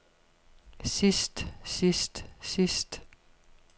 sidst sidst sidst